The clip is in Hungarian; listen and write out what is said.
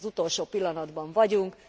Az utolsó pillanatban vagyunk.